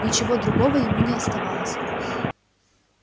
ничего другого ему не оставалось